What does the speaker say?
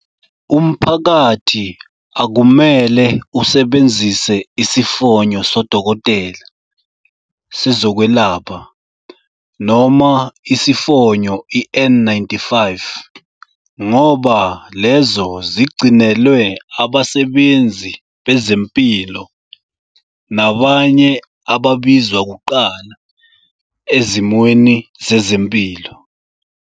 Umphakathi akumele usebenzise isifonyo sodokotela, sezokwelapha, noma isifonyo i-N-95 ngoba lezo zigcinelwe abasebenzi bezempilo nabanye ababizwa kuqala ezimweni zezempilo.